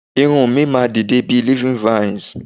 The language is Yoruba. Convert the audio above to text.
Irun mi máa n dide bi living vines